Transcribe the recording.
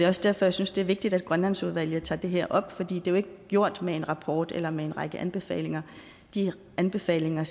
også derfor jeg synes det er vigtigt at grønlandsudvalget tager det her op for det er jo ikke gjort med en rapport eller med en række anbefalinger de anbefalinger